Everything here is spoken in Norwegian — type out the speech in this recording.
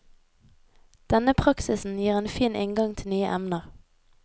Denne praksisen gir en fin inngang til nye emner.